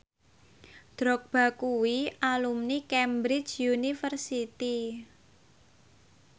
Drogba kuwi alumni Cambridge University